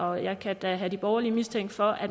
og jeg kan da have de borgerlige mistænkt for at